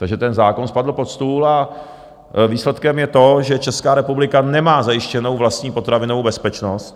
Takže ten zákon spadl pod stůl a výsledkem je to, že Česká republika nemá zajištěnou vlastní potravinovou bezpečnost.